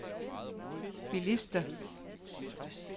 bilister